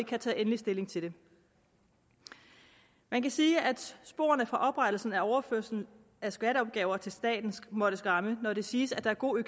kan tage endelig stilling til det man kan sige at sporene fra oprettelsen af overførslen af skatteopgaver til staten må skræmme når det siges at der er god